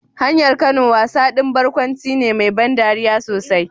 Hanyar Kano wasa ɗin barkwanci ne mai ban dariya sosai.